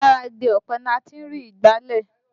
Lára igi ọ̀pẹ láti ń rí ìgbálẹ̀